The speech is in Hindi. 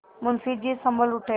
मुंशी जी सँभल उठे